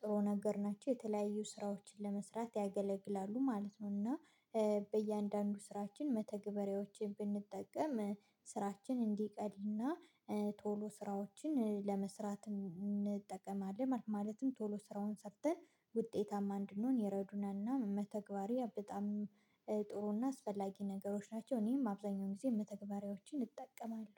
ጥሩ ነገር ናቸው የተለያዩ ስራዎችን ለመስራት ያገለግላሉ ማለት ነው። እና በእያንዳንዱ ስራችን መተግበሪያዎችን ብንጠቀም ስራችን እንዲቀና ቶሎ ስራዎችን ለመስራት እንጠቀማለን ማለትም ቶሎ ስራውን ሰርተን ውጤታማ እንድንሆን ይረዱናልና መተግበሪያ በጣም ጥሩና አስፈላጊ ነገሮች ናቸው። እኔም አብዛኛውን ጊዜ መተግበሪያዎችን እጠቀማለሁ።